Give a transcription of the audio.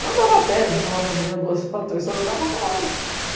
Eu andava a pé, uma hora da manhã, duas horas, três horas, eu andava a qualquer hora.